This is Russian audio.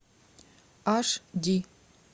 аш ди